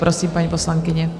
Prosím, paní poslankyně.